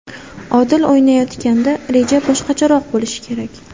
Odil o‘ynayotganda reja boshqacharoq bo‘lishi kerak.